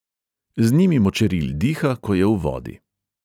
Z njimi močeril diha, ko je v vodi.